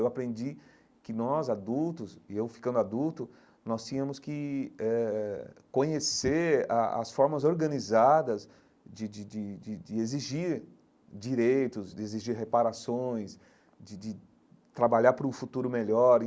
Eu aprendi que nós, adultos, e eu ficando adulto, nós tínhamos que eh eh conhecer a as formas organizadas de de de de de exigir direitos, de exigir reparações, de de trabalhar para um futuro melhor.